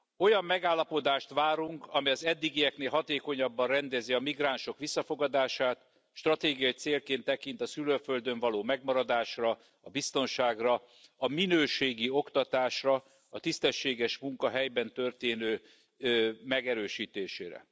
Olyan megállapodást várunk, amely az eddigieknél hatékonyabban rendezi a migránsok visszafogadását, stratégiai célként tekint a szülőföldön való megmaradásra, a biztonságra, a minőségi oktatásra, a tisztességes munka helyben történő megerősítésére.